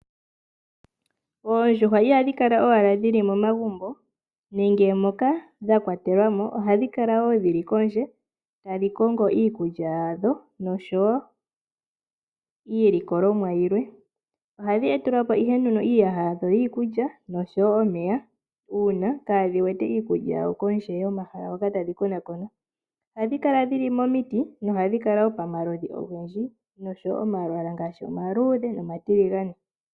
Oondjuhwa ihadhi kala owala dhili momagumbo nenge moka dha kwatelwa mo, ohadhi kala kondje tadhi, kongo iikulya yadho noshowo iilikolomwa yilwe. Ohadhi e telwa ihe iiyaha yadho yiikulya noshowo omeya uuna kaadhi wete iikulya yadho kondje yomahala hoka tadhi konakona. Ohadhi kala dhili momiti nohadhi kala wo pamaludhi ogendji noshowo omalwaala ngaashi omaluudhe nomatiligane.